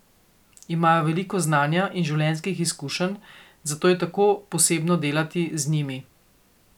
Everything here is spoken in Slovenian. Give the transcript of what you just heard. Imajo veliko znanja in življenjskih izkušenj, zato je tako posebno delati z njimi.